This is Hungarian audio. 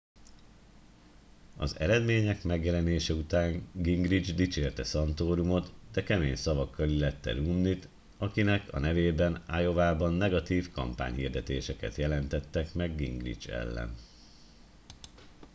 az eredmények megjelenése után gingrich dicsérte santorumot de kemény szavakkal illette romney t akinek a nevében iowában negatív kampányhirdetéseket jelentettek gingrich ellen